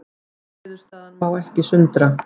Niðurstaðan má ekki sundra